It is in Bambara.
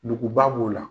Nuguba b'o la